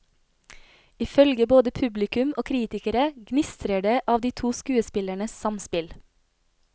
Ifølge både publikum og kritikere gnistrer det av de to skuespillernes samspill.